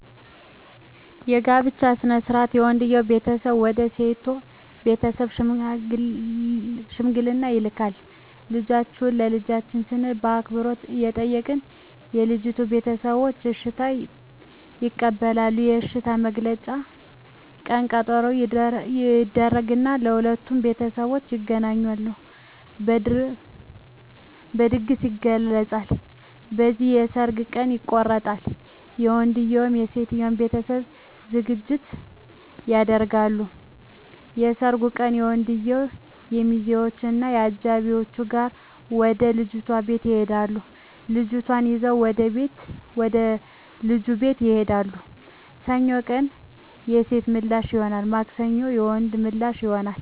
የጋብቻ ሥነ ሥርዓት የወንድየዉ ቤተሰቦች ወደ ሴት ቤተሰቦች ሽምግልና ይልካሉ ልጃችሁን ለልጃችን ስንል በአክብሮት እንጠይቃለን የልጂቱ ቤተሰቦች እሽታ ይቀበላሉ የእሽታዉ መግለጫ ቀነ ቀጠሮ ይደረግ እና የሁለቱም ቤተሠቦች ይገናኙና በድግስ ይገለፃል። ከዚያም የሠርጋቸዉ ቀን ይቆረጣል የወንድየዉም የሴቶም ቤተሠቦች ዝግጅት ያደርጋሉ። የሠርጉ ቀን ወንድየዉ ከሚዚወች እና ከአጃቢወቹ ጋር ወደ ልጅቷ ቤት ይሄዳሉ ልጅቷን ይዘዉ ወደ ልጁ ቤት ይሄዳሉ። ሰኞ ቀን የሴቶ ምላሽ ይሆናል ማክሰኞ የወንድየዉ ምላሽ ይሆናል።